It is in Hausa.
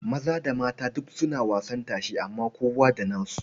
Maza da mata duk suna wasan tashe amma kowa da nasu.